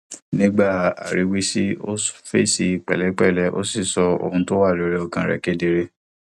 nígbà aríwísí ó fèsì pèlépèlé ó sì sọ ohun tó wà lórí ọkàn rè kedere